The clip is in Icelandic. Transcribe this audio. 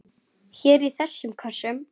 Hér í þessum kössum!